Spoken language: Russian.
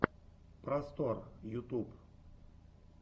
просторъ ютуб